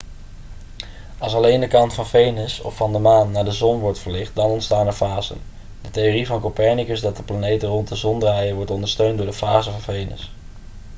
als alleen de kant van venus of van de maan naar de zon wordt verlicht dan ontstaan er fasen. de theorie van copernicus dat de planeten rond de zon draaien wordt ondersteund door de fasen van venus